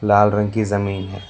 लाल रंग की जमीन है।